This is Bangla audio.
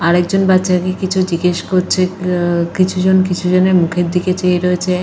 আরেকজন বাচ্চাকে কিছু জিজ্ঞেস করছে আ কিছুজন। কিছুজন কিছুজনের মুখের দিকে চেয়ে রয়েছে।